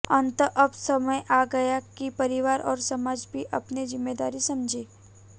अतः अब समय आ गया कि परिवार और समाज भी अपनी जिम्मेदारी समझें